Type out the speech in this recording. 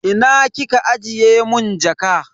Ina kika ajiye mun jaka?